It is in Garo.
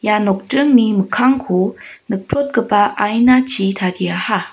ia nokdringni mikkangko nikprotgipa ainachi tariaha.